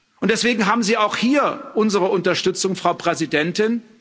Und deswegen haben Sie auch hier unsere Unterstützung, Frau Präsidentin.